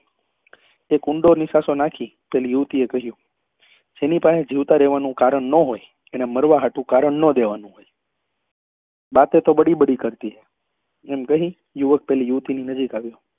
એક ઊંડા નિસાસો નાખી પેલી યુવતી એ કહ્યું જેની પહે જીવતા રહેવા નું કારણ નાં હોય એને મારવા હાટુ કારણ નાં દેવા નું હોય બાતે તો બડી બડી કરતી હૈ એમ કહી યુવક પેલી યુવતી ની નજીક આવ્યો